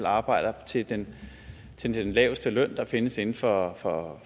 arbejder til den til den laveste løn der findes inden for for